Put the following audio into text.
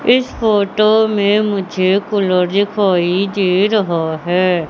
इस फोटो में मुझे कुलर दिखाई दे रहा है।